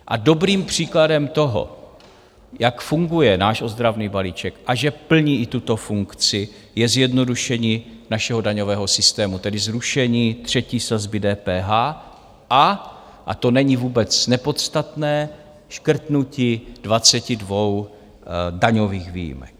A dobrým příkladem toho, jak funguje náš ozdravný balíček a že plní i tuto funkci, je zjednodušení našeho daňového systému, tedy zrušení třetí sazby DPH a - a to není vůbec nepodstatné, škrtnutí 22 daňových výjimek.